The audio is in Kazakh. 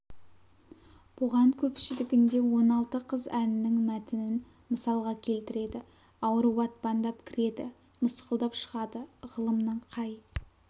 бұған көпшілігінде он алты қыз әнінің мәтінін мысалға келтіреді ауру батпандап кіреді мысқылдап шығады ғылымның қай